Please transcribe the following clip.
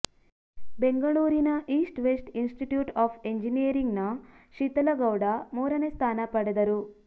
ಬೆಂಗಳೂರಿನ East West Institute of ಇಂಜಿನಿಯರಿಂಗ್ನ ಶೀತಲಗೌಡ ಮೂರನೇ ಸ್ಥಾನ ಪಡೆದರು